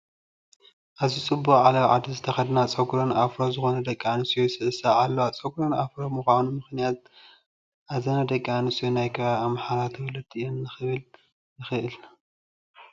ኣዝዩ ፅቡቕ ዓለባ ዓዲ ዝተኸደና ጨጉረን ኣፍሮ ዝኾና ደቂ ኣንስትዮ ይስዕስዓ ኣለዋ፡፡ ጨጉረን ኣፍሮ ብምዃኑ ምኽንያት እዘና ደቂ ኣንስትዮ ናይ ከባቢ ኣምሓራ ተወለድቲ እየን ክንብል ንኽእል፡፡